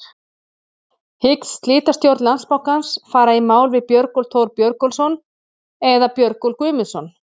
Hyggst slitastjórn Landsbankans fara í mál við Björgólf Thor Björgólfsson eða Björgólf Guðmundsson?